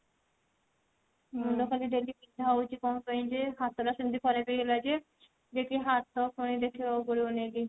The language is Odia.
ମୁଣ୍ଡ ଟା ବି daily ବିନ୍ଧା ହଉଛି କଣ ପାଇଁ ଯେ ହାତ ଟା ସେମିତି ଖରାପ ହେଇଗଲା ଯେ ଯାଇକି ହାତ ପାଇଁ ଦେଖେଇବାକୁ ପଡିବ ପୁଣି ନେଇକି